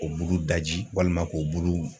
O bulu daji walima k'o bulu.